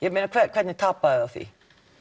hvernig tapa þau á því